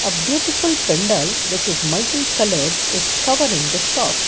a beautiful pandal which is multi coloured is covering the shop.